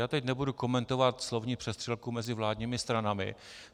Já teď nebudu komentovat slovní přestřelku mezi vládními stranami.